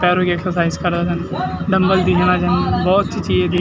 पैरों की एक्सरसाइज करोंदन डम्बल दिखेणा छिन भोत अच्छी चीज भी --